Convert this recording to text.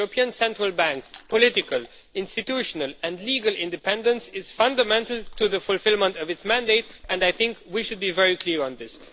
The European Central Bank's political, institutional and legal independence is fundamental to the fulfilment of its mandate, and I think we should be very clear on this.